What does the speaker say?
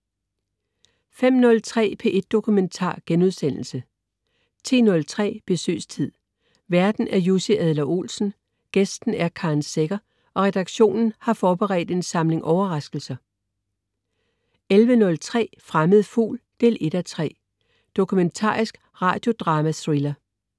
05.03 P1 Dokumentar* 10.03 Besøgstid. Værten er Jussi Adler-Olsen, gæsten er Karen Secher og redaktionen har forberedt en samling overraskelser 11.03 Fremmed Fugl 1:3. Dokumentarisk radiodrama-thriller